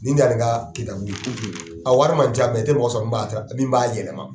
Ni n nana ni n ka kitabu ye, a wari min ca i tɛ mɔgɔ sɔrɔ min b'a min b'a yɛlɛma.